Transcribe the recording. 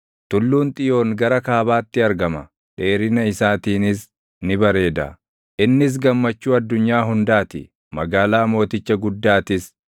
Tulluun Xiyoon gara kaabaatti argama; dheerina isaatiinis ni bareeda. Innis gammachuu addunyaa hundaa ti; magaalaa Mooticha Guddaatis.